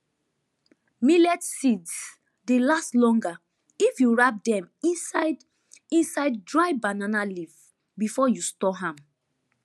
millet seeds dey last longer if you wrap dem inside inside dry banana leaf before you store am